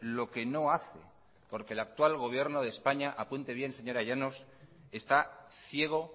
lo que no hace porque el actual gobierno de españa apunte bien señora llanos está ciego